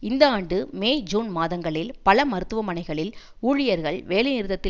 இந்த ஆண்டு May June மாதங்களில் பல மருத்துவமனைகளில் ஊழியர்கள் வேலை நிறுத்தத்தில்